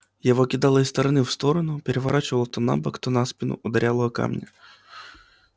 его кидало из стороны в сторону переворачивало то на бок то на спину ударяло о камни